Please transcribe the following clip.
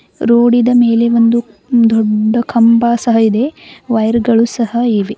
ರೋಡಿ ದ ಮೇಲೆ ಒಂದು ದೊಡ್ಡ ಕಂಬ ಸಹ ಇದೆ ವಯರ್ ಗಳು ಸಹ ಇವೆ.